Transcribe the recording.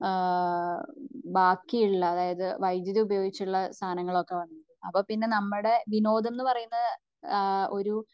വീട്ടിലും ബാക്കി ഉള്ള അതായത് വൈധ്യുതി ഉപയോഗിച്ചുള്ള സാമാനങ്ങൾ ഒക്കെ വന്നത് അപ്പോ പിന്നെ നമ്മുടെ വിനോദമെന്ന പറയുന്നത് ഏഹ്ഹ് ഒരു